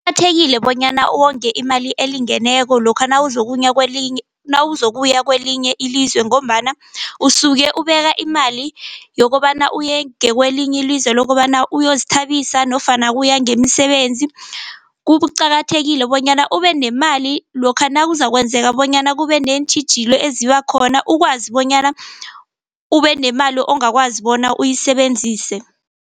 Kuqakathekile bonyana uwonge imali elingeneko lokha nawuzokuya kwelinye ilizwe ngombana usuke ubeka imali yokobana uye ngakwelinye ilizwe, lokobana uyazithabisa nofana uya ngemisebenzi. Kuqakathekile bonyana ube nemali lokha nakuzakwenzeka bonyana kube neentjhijilo eziba khona ukwazi bonyana ube nemali ongakwazi bona uyisebenzise.